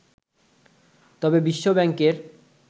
তবে বিশ্বব্যাংকের